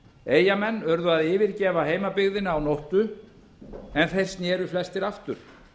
eyjamenn urðu að yfirgefa heimabyggðina að nóttu en þeir sneru flestir aftur